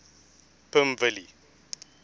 pimvilli